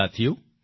સાથીઓ